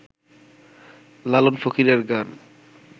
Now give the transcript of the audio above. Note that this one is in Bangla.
লালন ফকিরের গান